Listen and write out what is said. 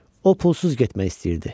O pulsuz getmək istəyirdi.